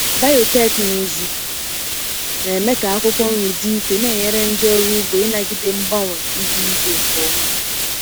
Biotekịnụzụ na-eme ka akwụkwọ nri dị ike, na-enyere ndị ọrụ ugbo ịnagide mgbanwe ihu igwe nke ọma.